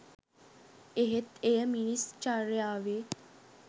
එහෙත් එය මිනිස් චර්යාවේ